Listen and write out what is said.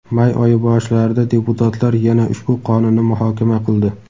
may oyi boshlarida deputatlar yana ushbu qonunni muhokama qildi.